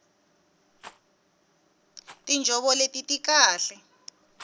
tinjhovo leti ti kahle